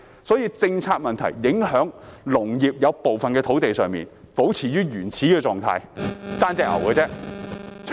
正因為政策問題，部分農地仍保持原始的狀態，只欠牛隻而已。